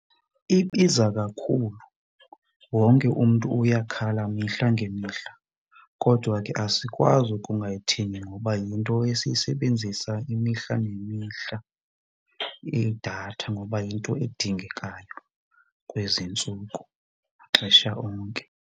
Ibiza kakhulu wonke umntu uyakhala mihla ngemihla kodwa ke asikwazi ukungayithengi ngoba yinto esiyisebenzisa imihla ngemihla idatha, ngoba yinto edingekayo kwezintsuku maxesha onke.